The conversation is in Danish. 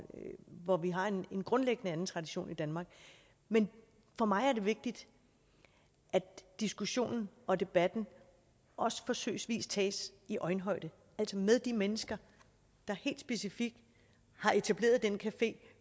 hvor vi har en grundlæggende anden tradition i danmark men for mig er det vigtigt at diskussionen og debatten også forsøgsvis tages i øjenhøjde med de mennesker der helt specifikt har etableret den café